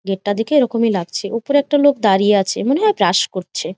Gate টা দেখে এইরকম এই লাগছে । উপরে একটা লোক দাঁড়িয়ে আছে মনে হয় ব্রাশ করছে ।